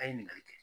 A ye ɲiniŋali kɛ